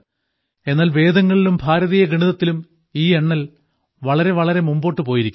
എന്നാൽ വേദങ്ങളിലും ഭാരതീയ ഗണിതത്തിലും ഈ എണ്ണൽ വളരെ വളരെ മുന്നോട്ട് പോയിരിക്കുന്നു